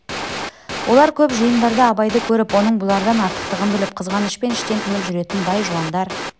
олар көп жиындарда абайды көріп оның бұлардан артықтығын біліп қызғанышпен іштен тынып жүретін бай-жуандар